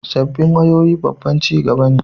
Sabbin wayoyi babban ci gaba ne